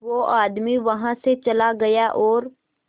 वो आदमी वहां से चला गया और